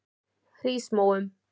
Hrísmóum